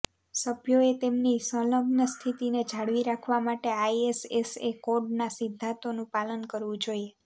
સભ્યોએ તેમની સંલગ્ન સ્થિતિને જાળવી રાખવા માટે આઇએસએસએ કોડના સિદ્ધાંતોનું પાલન કરવું જોઈએ